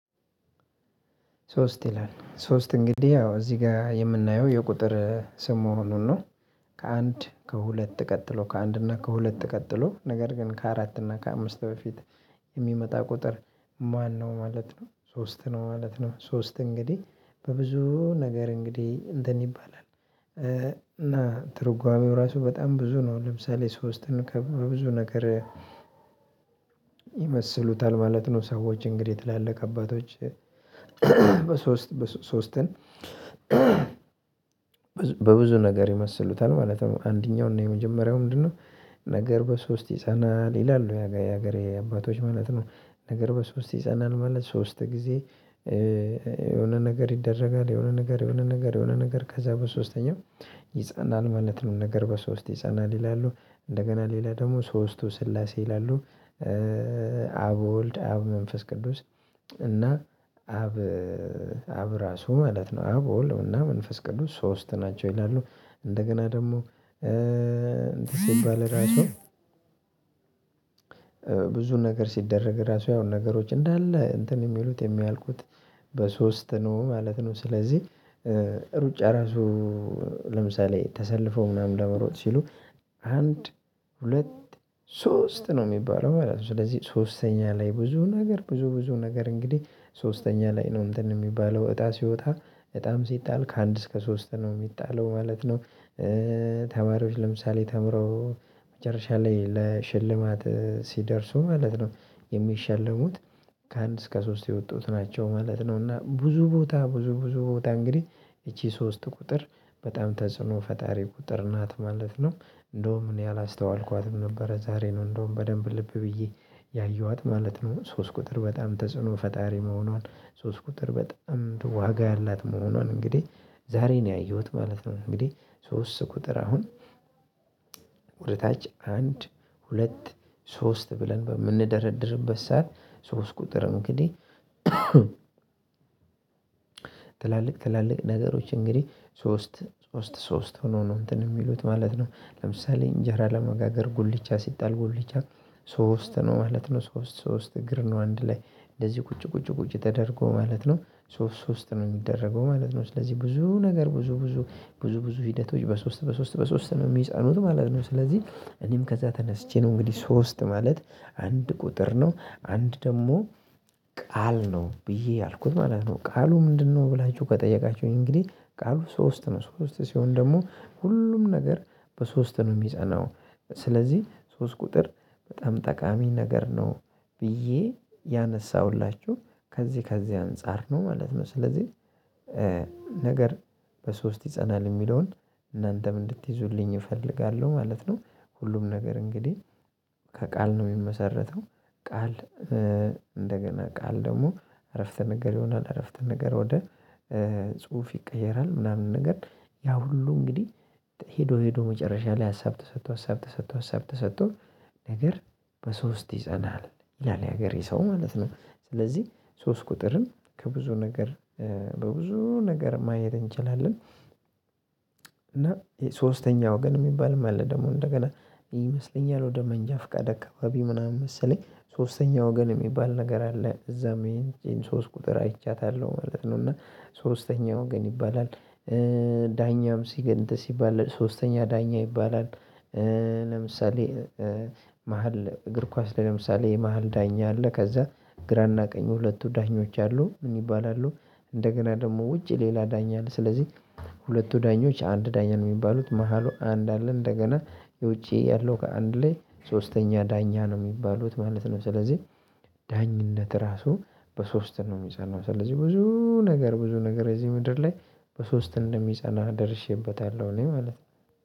ሶስት ይላል ሶስት እንግዲህ አዎ እዚህ ጋር የምናየው የቁጥር ስም መሆኑን ነው። ከአንድ ከሁለት ቀጥሎ ከአንድ እና ከሁለት ቀጥሎ ነገር ግን ከአራት እና ከአምስት በፊት የሚመጣ ቁጥር ማነው? ማለት ነው ሶስት ነው ማለት ነው። ሶስት እንግዲህ በብዙ ነገር እንግዲህ እንደን ይባላል። እና ትርጓሜው ራሱ በጣም ብዙ ነው ለምሳሌ ሶስትን ከብዙ ነገር ይመስሉታል ማለት ነው። ሰዎች እንግዲህ ትላልቅ አባቶች። በሶስት ሶስትን በብዙ ነገር ይመስሉታል ማለት አንደኛው እና የመጀመሪያው ምንድነው? ነገር በሶስት ይጸናል ይላሉ የሀገሬ አባቶች ማለት ነው። ነገር በሶስት ይጸናል ማለት ሶስት ጊዜ። የሆነ ነገር ይደረጋል የሆነ ነገር የሆነ ነገር የሆነ ነገር ከዛ በሶስተኛው ይጸናል ማለት ነው። ነገር በሶስት ይጸናል ይላሉ። እንደገና ሌላ ደግሞ ሶስቱ ስላሴ ይላሉ። አብ ወልድ አብ መንፈስ ቅዱስ። እና አብ ራሱ ማለት ነው አብ ወልድና መንፈስ ቅዱስ ሶስት ናቸው። ይላሉ እንደገና ደግሞ እንትን ሲባል ራሱ ብዙ ነገር ሲደረግ ራሱ ያው ነገሮች እንዳለ እንትን የሚሉት የሚያልቁት በሶስት ነው ማለት ነው። ስለዚህ ሩጫ ራሱ ለምሳሌ ተሰልፎ ምናምን ለመሮጥ ሲሉ አንድ ሁለት ሶስት ነው የሚባለው ማለት ነው። ስለዚህ ሶስተኛ ላይ ብዙ ነገር ብዙ ብዙ ነገር እንግዲህ ሶስተኛ ላይ ነው እንትን የሚባለው እጣ ሲወጣ እጣም ሲጣል ከአንድ እስከ ሶስት ነው የሚጣለው ማለት ነው። ተማሪዎች ለምሳሌ ተምረው መጨረሻ ላይ ለሽልማት ሲደርሱ ማለት ነው። የሚሸለሙት ከአንድ እስከ ሶስት የወጡት ናቸው ማለት ነው። እና ብዙ ቦታ ብዙ ብዙ ቦታ እንግዲህ ይቺ ሶስት ቁጥር በጣም ተጽዕኖ ፈጣሪ ቁጥር ናት ማለት ነው። እንደውም እኔ አላስተዋልኳትም ነበረ ዛሬ ነው እንደውም በደንብ ልብ ብዬ ያየኋት ማለት ነው። ሶስት ቁጥር በጣም ተጽዕኖ ፈጣሪ መሆኗን ሶስት ቁጥር በጣም ዋጋ ያላት መሆኗን እንግዲህ ዛሬ ነው ያየሁት ማለት ነው። እንግዲህ ሶስት ቁጥር አሁን ወደታች አንድ ሁለት ሶስት ብለን በምንደረድርበት ሰዓት ሶስት ቁጥር እንግዲህ ትላልቅ ትላልቅ ነገሮች እንግዲህ ሶስት ሶስት ሶስት ሆኖ ነው። እንትን የሚሉት ማለት ነው ለምሳሌ እንጀራ ለመጋገር ጉልቻ ሲጣል ጉልቻ ሶስት ነው ማለት ነው። ሶስት ሶስት እግር ነው አንድ ላይ እንደዚህ ቁጭ ቁጭ ቁጭ ተደርጎ ማለት ነው። ሶስት ነው የሚደረገው ማለት ነው። ስለዚህ ብዙ ነገር ብዙ ብዙ ብዙ ብዙ ሂደቶች በሶስት በሶስት በሶስት ነው የሚጻኑት ማለት ነው። ስለዚህ እኔም ከዛ ተነስቼ ነው እንግዲህ ሶስት ማለት አንድ ቁጥር ነው አንድ ደግሞ ቃል ነው ብዬ ያልኩት ማለት ነው። ቃሉ ምንድነው? ብላችሁ ከጠየቃችሁኝ እንግዲህ ቃሉ ሶስት ነው ሶስት ሲሆን ደግሞ ሁሉም ነገር በሶስት ነው የሚጸናው። ስለዚህ ሶስት ቁጥር በጣም ጠቃሚ ነገር ነው። ብዬ ያነሳሁላችሁ ከዚህ ከዚህ አንፃር ነው ማለት ነው። ስለዚህ ነገር በሶስት ይፀናል የሚለውን እናንተም እንድትይዙልኝ እፈልጋለሁ ማለት ነው። ሁሉም ነገር እንግዲህ ከቃል ነው የሚመሰረተው። ቃል እንደገና ቃል ደግሞ አረፍተ ነገር ይሆናል። አረፍተ ነገር ወደ ጽሁፍ ይቀየራል። ምናምን ነገር ያ ሁሉ እንግዲህ ሄዶ ሄዶ መጨረሻ ላይ ሀሳብ ተሰጥቶ ሀሳብ ተሰጥቶ ሀሳብ ተሰጥቶ። ነገር በሶስት ይጸናል ያለል የሀገሬ ሰው ማለት ነው። ስለዚህ ሶስት ቁጥርም ከብዙ ነገር በብዙ ነገር ማየት እንችላለን። እና የሶስተኛ ወገን የሚባል አለ። ደግሞ እንደገና ይመስለኛል ወደ መንጃ ፍቃደ አካባቢ ምናምን መሰለኝ ሶስተኛ ወገን የሚባል ነገር አለ። እዛም ይሄን ሶስት ቁጥር አይቻታለሁ ማለት ነው። እና ሶስተኛ ወገን ይባላል። ዳኛም ሲገን እንትን ሲባል ሶስተኛ ዳኛ ይባላል። ለምሳሌ መሃል እግር ኳስ ላይ ለምሳሌ የመሃል ዳኛ አለ። ከዛ ግራና ቀኝ ሁለቱ ዳኞች አሉ ምን ይባላሉ? እንደገና ደግሞ ውጭ ሌላ ዳኛ አለ። ስለዚህ ሁለቱ ዳኞች አንድ ዳኛ ነው የሚባሉት መሃሉ አንድ አለ እንደገና የውጪ ያለው ከአንድ ላይ ሶስተኛ ዳኛ ነው የሚባሉት ማለት ነው። ስለዚህ ዳኝነት ራሱ በሶስት ነው የሚጫናው። ስለዚህ ብዙ ነገር ብዙ ነገር እዚህ ምድር ላይ በሶስት እንደሚጸናህ ደርሼበታለሁ እኔ ማለት ነው።